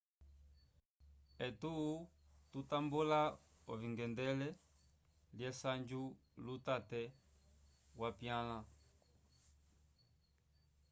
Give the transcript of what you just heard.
etu tutambula ovingendelei lesanju lutate wapyanla